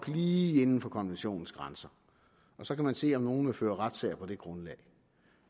lige inden for konventionens grænser og så kan man se om nogen vil føre retssag på det grundlag